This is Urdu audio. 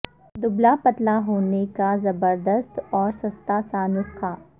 دبلا پتلا ہونے کا زبردست اور سستا سا نسخہ